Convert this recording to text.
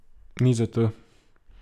Nič zato.